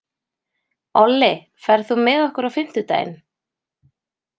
Olli, ferð þú með okkur á fimmtudaginn?